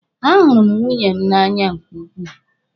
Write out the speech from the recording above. A hụrụ m nwunye m n'anya nke ukwuu.